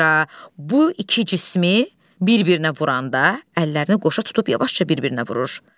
Zira bu iki cismi bir-birinə vuranda, əllərini qoşa tutub yavaşca bir-birinə vurur.